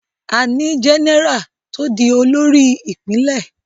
A ní Jẹ́nẹ́rà tó di olórí Ìpínlẹ̀